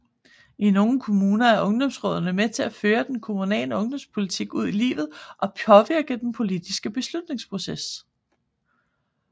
I nogle kommuner er ungdomsrådene med til at føre den kommunale ungdomspolitik ud i livet og påvirke den politiske beslutningsproces